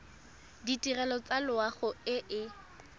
ditirelo tsa loago e e